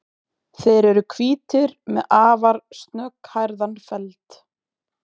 Þeir eru hvítir með afar snögghærðan feld.